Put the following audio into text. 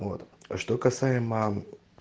вот а что касаемо